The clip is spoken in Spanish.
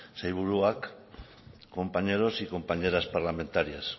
sailburuak compañeros y compañeras parlamentarias